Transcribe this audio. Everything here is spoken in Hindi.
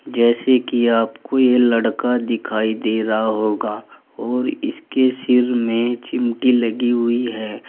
जैसे कि आपको ये लड़का दिखाई दे रहा होगा और इसके सिर में चिमटी लगी हुई है।